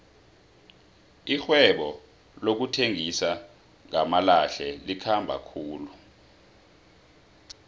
irhwebo lokuthengisa ngamalahle likhamba khulu